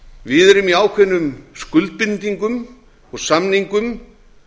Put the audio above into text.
við erum í ákveðnum skuldbindingum og samningum